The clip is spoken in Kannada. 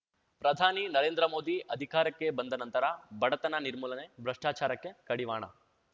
ಪ್ರಧಾನಿ ನರೇಂದ್ರ ಮೋದಿ ಅಧಿಕಾರಕ್ಕೆ ಬಂದ ನಂತರ ಬಡತನ ನಿರ್ಮೂಲನೆ ಭ್ರಷ್ಟಾಚಾರಕ್ಕೆ ಕಡಿವಾಣ